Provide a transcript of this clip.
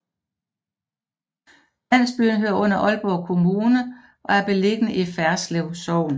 Landsbyen hører under Aalborg Kommune og er beliggende i Ferslev Sogn